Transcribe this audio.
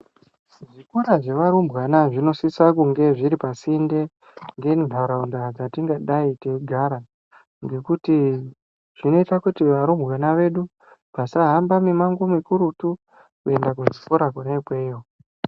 Zvikora zvevarumbwana zvinosisa kunge ndendaraunda yatingadai teigara ngekuti zvinoita varumbwana vedu vasahamba mumango yedu Kuchikora Kona iyoyo.